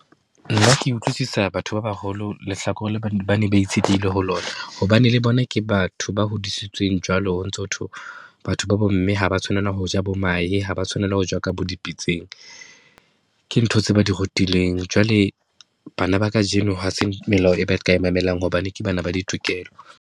Nna ke utlwisisa batho ba baholo lehlakore le ba ne ba itshetlehile ho lona, hobane le bona ke batho ba hodisitsweng jwalo ho ntso hothwe. Batho ba bomme ha ba tshwanela ho ja bo mahe, ha ba tshwanela ho ja ka bo dipitseng, ke ntho tse ba di rutilweng. Jwale bana ba kajeno ha se melao e ba ka e mamelang hobane ke bana ba ditokelo.